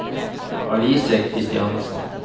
Alice Christiansen